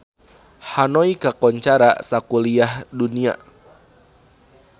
Hanoi kakoncara sakuliah dunya